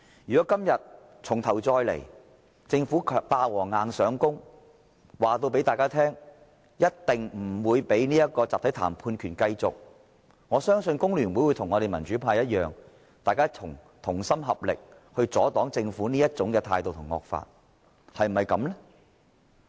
如果今天重頭再來，政府"霸王硬上弓"，告訴大家一定不讓工人有集體談判權，我相信工聯會會與我們民主派同心合力阻擋政府這種態度和惡法，是否這樣呢？